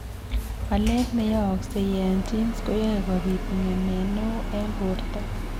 Walet neyooksei eng' genes koyae kobit ng'emet neoo eng' borto